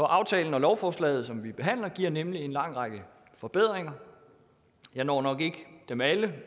aftalen og lovforslaget som vi behandler giver nemlig en lang række forbedringer jeg når nok ikke dem alle